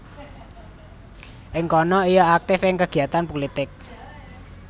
Ing kana ia aktif ing kegiatan pulitik